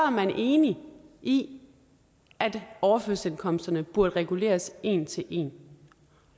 man enig i at overførselsindkomsterne burde reguleres en til en